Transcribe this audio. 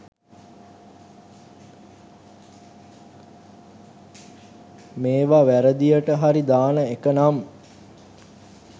මේව වැරදියට හරි දාන එකනම්